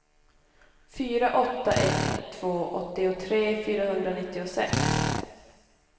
fyra åtta ett två åttiotre fyrahundranittiosex